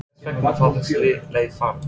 En hvers vegna var þessi leið farin?